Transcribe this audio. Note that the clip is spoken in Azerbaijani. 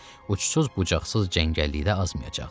Uçsuz bucaqsız cəngəllikdə azmayacaqlar.